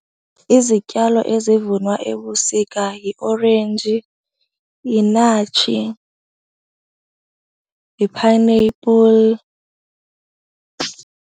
Izityalo ezivunwa ebusika yiorenji, yinatshi, yi-pineapple.